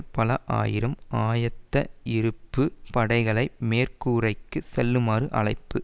பல ஆயிரம் ஆயத்த இருப்பு படைகளை மேற்குரைக்கு செல்லுமாறு அழைப்பு